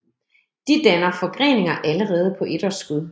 De danner forgreninger allerede på etårsskud